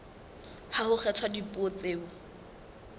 ha ho kgethwa dipuo tseo